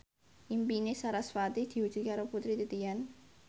impine sarasvati diwujudke karo Putri Titian